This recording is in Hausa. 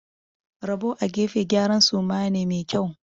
Rabo a gefe gyaran suma ne mai kyau.